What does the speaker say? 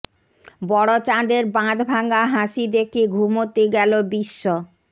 বড় চাঁদের বাঁধ ভাঙা হাসি দেখে ঘুমোতে গেল বিশ্ব